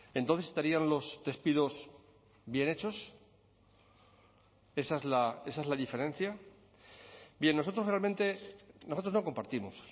entonces estarían los despidos bien hechos esa es la diferencia bien nosotros realmente nosotros no compartimos